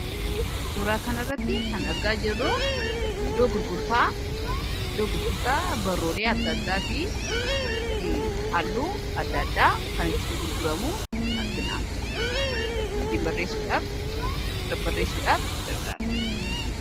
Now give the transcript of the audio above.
Suuraa kanarratti kan argaa jirru, iddoo gurgurtaa barruulee adda addaafi halluu adda addaa kan itti gurguramu argina. Ittiin barreessuudhaaf, irratti barreessuudhaaf gargaara.